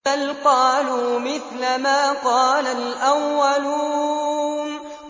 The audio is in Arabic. بَلْ قَالُوا مِثْلَ مَا قَالَ الْأَوَّلُونَ